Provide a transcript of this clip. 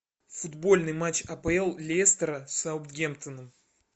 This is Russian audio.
футбольный матч апл лестера с саутгемптоном